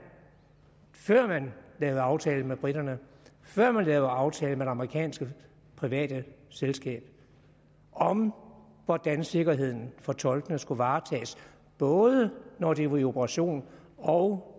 lavede aftale med briterne før man lavede aftale med det amerikanske private selskab om hvordan sikkerheden for tolkene skulle varetages både når de var på operation og